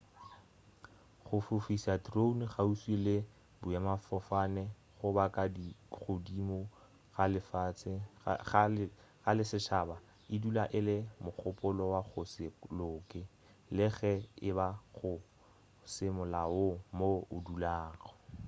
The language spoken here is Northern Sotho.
go fofiša drone kgauswi le boemafofane goba ka godimo ga lešhaba e dula e le mogopolo wa go se loke le ge e ba go se molaong mo o dulago